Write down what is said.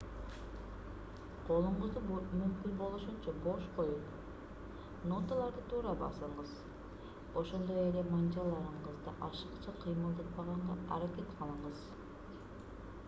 колуңузду мүмкүн болушунча бош коюп ноталарды туура басыңыз ошондой эле манжаларыңызды ашыкча кыймылдатпаганга аракет кылыңыз